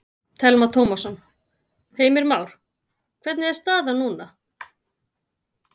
Telma Tómasson: Heimir Már, hvernig er staðan núna?